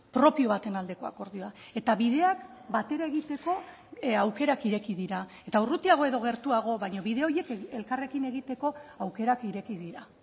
propio baten aldeko akordioa eta bideak batera egiteko aukerak ireki dira eta urrutiago edo gertuago baina bide horiek elkarrekin egiteko aukerak ireki dira